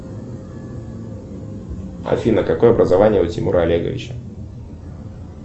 афина какое образование у тимура олеговича